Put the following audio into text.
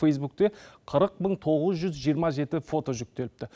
фейсбукте қырық мың тоғыз жүз жиырма жеті фото жүктеліпті